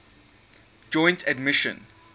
joint admission